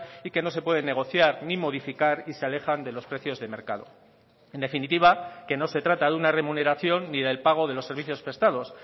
y que no se pueden negociar ni modificar y se alejan de los precios de mercado en definitiva que no se trata de una remuneración ni del pago de los servicios prestados